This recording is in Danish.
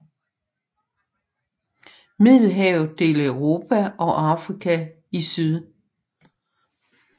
Middelhavet deler Europa og Afrika i syd